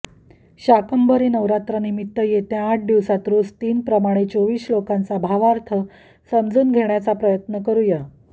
शाकंभरी नवरात्रीनिमित्त येत्या आठ दिवसात रोज तीन प्रमाणे चोवीस श्लोकांचा भावार्थ समजून घेण्याचा प्रयत्न करूया